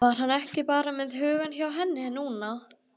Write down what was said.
Var hann ekki bara með hugann hjá henni núna?